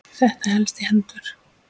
Þetta helst í hendur.